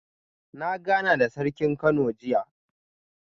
Na gana da Sarkin Kano jiya